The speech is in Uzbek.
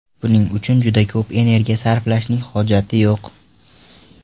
Buning uchun juda ko‘p energiya sarflashning hojati yo‘q.